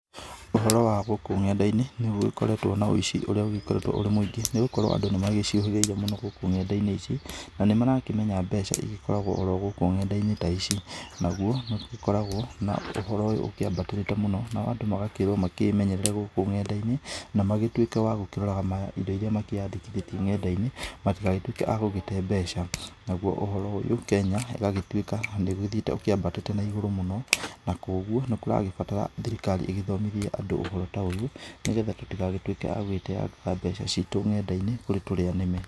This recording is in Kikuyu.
Ũhoro wa gũkũ ng'enda-inĩ nĩ gũgĩkoretwo na ũici ũrĩa ũgĩkoretwo ũrĩ mũingĩ nĩ gũkorwo andũ nĩ magĩciũhĩgĩrĩire mũno gũkũ nenda-inĩ ici, na nĩ marakĩmenya mbeca igĩkoragwo o ro gũkũ nenda-inĩ ta ici, naguo nĩ ũgĩkoragwo na ũhoro ũyũ ũkĩambatĩrĩte mũno nao andũ magakĩrwo makĩmenyerere gũkũ ng'enda-inĩ, na magĩtuĩke wa gũkĩrora indo iria makĩyandĩkithĩtie ng'enda-inĩ, matigagĩtuĩke a gũgĩte mbeca, naguo ũhoro ũyũ Kenya ĩgagĩtuĩka nĩ ũgĩthiĩte ũkĩambatĩte na igũrũ mũno, na kũguo nĩ kũragĩbatara thirikari ĩgĩthomithie andũ ũhoro ta ũyũ, nĩgetha tũtigagĩtuĩke a gũgĩteyangaga mbeca citũ nenda-inĩ kũrĩ tũrĩa nĩme.